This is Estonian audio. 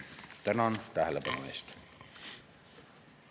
Tänan tähelepanu eest!